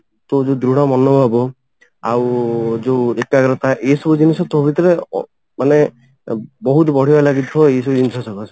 ତୋର ଯଉ ଦୃଢ ମନଭାବ ଆଉ ଯଉ ଏକାଗ୍ରତା ଏଇ ସବୁ ଜିନିଷ ତୋ ଭିତରେ ମାନେ ବହୁତ ବଢିଆରେ ଲାଗିଥିବ ଏଇ ସବୁ ଜିନିଷ ସକାସେ